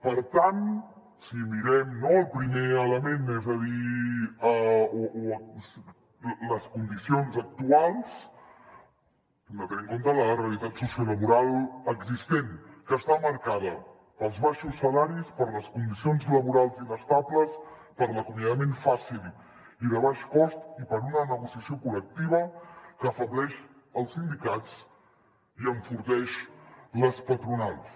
per tant si mirem no el primer element és a dir les condicions actuals hem de tenir en compte la realitat sociolaboral existent que està marcada pels baixos salaris per les condicions laborals inestables per l’acomiadament fàcil i de baix cost i per una negociació col·lectiva que afebleix els sindicats i enforteix les patronals